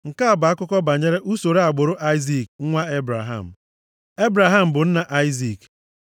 Nke a bụ akụkọ banyere usoro agbụrụ Aịzik nwa Ebraham. Ebraham bụ nna Aịzik.